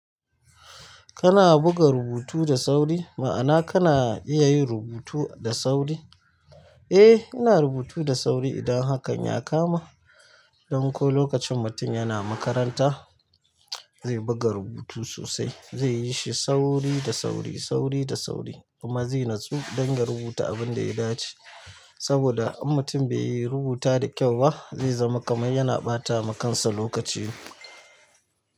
Kana buga rubutu da sauri, ma'ana kana iya yin rubutu da sauri? Eh, ina rubutu da sauri idan hakan ya kama. Don ko lokacin mutum yana makaranta, zai buga rubutu sosai, zai yi shi sauri da sauri, sauri da sauri kuma zai natsu don ya rubuta abin da ya dace. Saboda in mutum bai yi rubuta da kyau ba zai zama kamar yana ɓata ma kansa lokaci.